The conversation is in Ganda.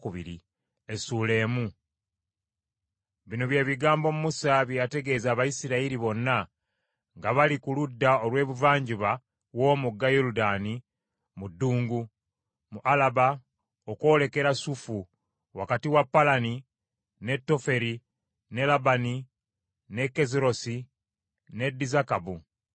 Bino bye bigambo Musa bye yategeeza Abayisirayiri bonna nga bali ku ludda olw’ebuvanjuba w’omugga Yoludaani mu ddungu, mu Alaba okwolekera Sufu, wakati wa Palani ne Toferi, ne Labani, ne Kazerosi ne Dizakabu.